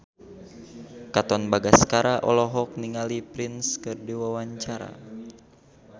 Katon Bagaskara olohok ningali Prince keur diwawancara